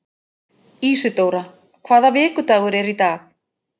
Ísidóra, hvaða vikudagur er í dag?